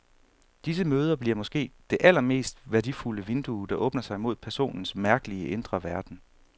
Disse møder bliver måske det allermest værdifulde vindue, der åbner sig mod personens mærkelige, indre verden.